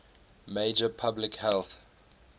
major public health